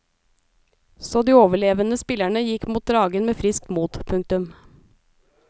Så de overlevende spillerne gikk mot dragen med friskt mot. punktum